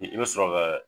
I bɛ sɔrɔ ka